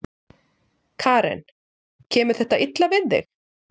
Karen: Kemur þetta illa við þig?